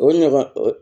O ɲɔgɔn o